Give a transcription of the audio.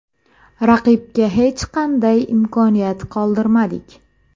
Raqibga hech qanday imkoniyat qoldirmadik.